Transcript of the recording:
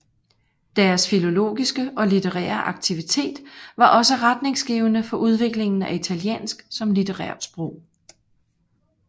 Deres filologiske og litterære aktivitet var også retningsgivende for udviklingen af italiensk som litterært sprog